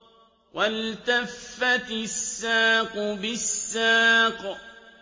وَالْتَفَّتِ السَّاقُ بِالسَّاقِ